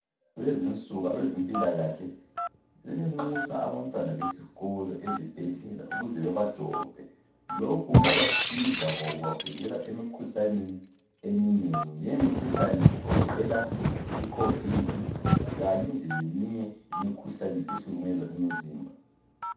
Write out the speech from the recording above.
Kulezi insuku abezempilakahle sebenxusa abantwana besikolo ukuze babajove. Lokhu kuyabasiza ngoba kubavikela emikhuhlaneni eminengi. Lemikhuhlane, igoqela iCovid, kanye leminye imikhuhlane, ehlukuluza imizimba.